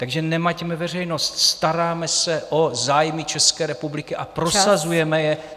Takže nemaťme veřejnost, staráme se o zájmy České republiky a prosazujeme je...